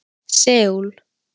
Seúl